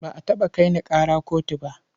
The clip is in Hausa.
Ba a taɓa kai ni ƙara kotu ba.